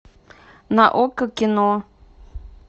на окко кино